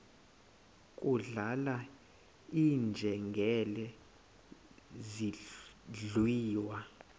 kudlala iinjengele zidliwa